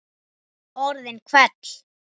Orðin hvell.